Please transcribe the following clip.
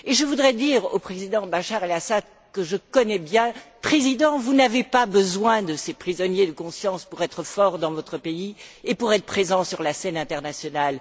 Je voudrais dire au président Bachar El Assad que je connais bien Président, vous n'avez pas besoin de ces prisonniers de conscience pour être fort dans votre pays et pour être présent sur la scène internationale.